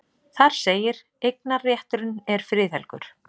Þar segir: Eignarrétturinn er friðhelgur.